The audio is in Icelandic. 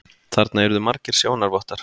Þarna yrðu margir sjónarvottar.